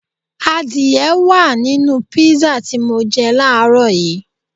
Adìẹ wá à nínú písà tí mọ jẹ láàrọ́ yìí